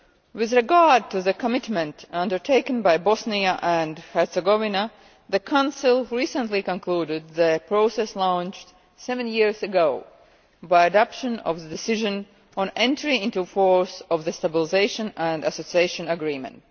With regard to the commitment undertaken by Bosnia and Herzegovina, the Council recently concluded the process launched seven years ago by adopting the decision on entry into force of the Stabilisation and Association Agreement.